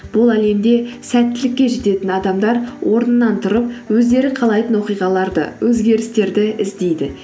бұл әлемді сәттілікке жететін адамдар орнынан тұрып өздері қалайтын оқиғаларды өзгерістерді іздейді